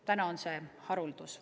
Nüüd on see haruldus.